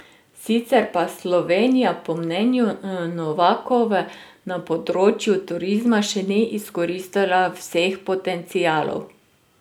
Sicer pa Slovenija po mnenju Novakove na področju turizma še ni izkoristila vseh potencialov.